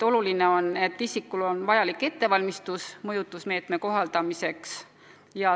Oluline on, et isikutel on vajalik ettevalmistus mõjutusmeetmete kohaldamiseks.